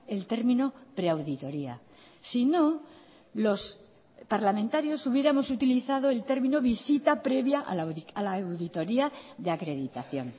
el término pre auditoría si no los parlamentarios hubiéramos utilizado el término visita previa a la auditoria de acreditación